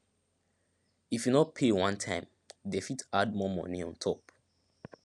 if you no pay one time dem fit add more money on top